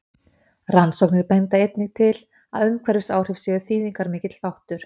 Rannsóknir benda einnig til að umhverfisáhrif séu þýðingarmikill þáttur.